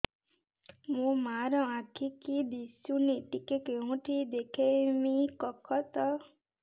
ମୋ ମା ର ଆଖି କି ଦିସୁନି ଟିକେ କେଉଁଠି ଦେଖେଇମି କଖତ